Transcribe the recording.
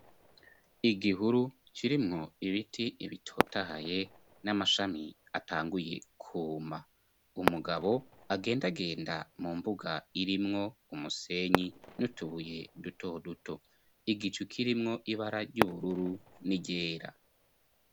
Igihuru kirimwo ibiti bitotahaye n'amashami atanguye kwuma umugabo agenda agenda mu mbuga irimwo umusenyi n'utubuye duto duto igicu kirimwo ibara ry'ubururu n'iryera.